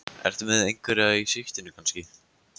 Ertu með einhverja í sigtinu kannski?